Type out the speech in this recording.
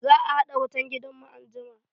Za a haɗa wutan gidan mu anjima